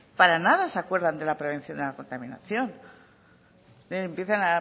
para nada se acuerdan de la prevención de la contaminación empiezan